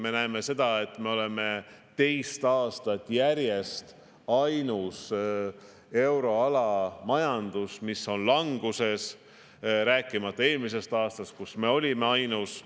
Me näeme, et me oleme teist aastat järjest ainus euroala riik, mille majandus on languses – eelmisel aastal olime samuti ainus selline.